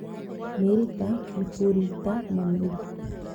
Mĩrita, mĩkũrita na mĩri